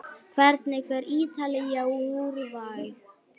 Hvernig fer Ítalía- Úrúgvæ?